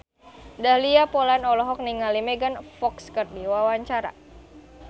Dahlia Poland olohok ningali Megan Fox keur diwawancara